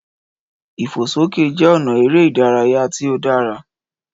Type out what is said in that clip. Ìfòsókè jẹ́ ọ̀nà eré ìdárayá tí ó dára